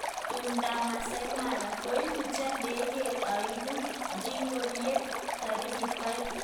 Tumdab Masaai Mara: Koibutyo ndegeinik aengu kingorieb taritik aeng